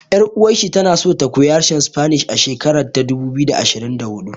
Ƴar uwar shi tana so ta koya harshen Spanish a shekara ta dubu biyu da ashirin da huɗu